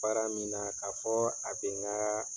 Baara min na k'a fɔ a bɛ n ka